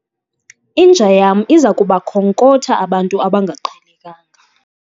Inja yam iza kuba khonkotha abantu abangaqhelekanga